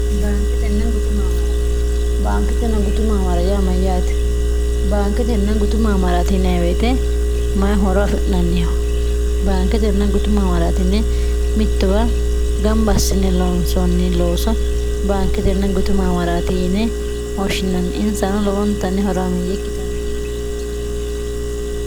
bankitenn gtumamr baankitenna gutuma amarayaamayyaate baankitenna gutuma amaratiineeweete mayi horo afi'nanniho baankitenna gutuma amaraatine mittuwa gambassine loonsoonni looso baankitenna gutuma amaraatiyine hoshshinanni insano lowontanni horo amiyye ikkitanno